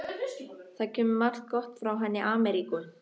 Það kemur margt gott frá henni Ameríku.